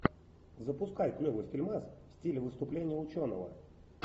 запускай клевый фильмас в стиле выступление ученого